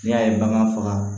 N'i y'a ye bagan faga